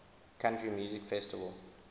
country music festival